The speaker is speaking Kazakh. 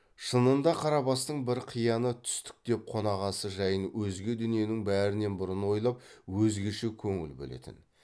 шынында қарабастың бір қияны түстік деп қонақасы жайын өзге дүниенің бәрінен бұрын ойлап өзгеше көңіл бөлетін